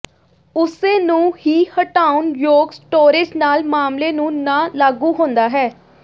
ਉਸੇ ਨੂੰ ਹੀ ਹਟਾਉਣ ਯੋਗ ਸਟੋਰੇਜ਼ ਨਾਲ ਮਾਮਲੇ ਨੂੰ ਨਾ ਲਾਗੂ ਹੁੰਦਾ ਹੈ